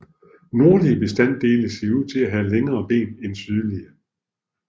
Nordlige bestande ser ud til at have længere ben end sydlige